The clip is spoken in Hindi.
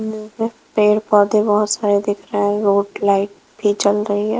पेड़ पौधे बहोत सारे दिख रहा है रोड लाइट भी जल रही है।